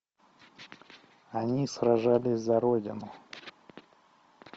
они сражались за родину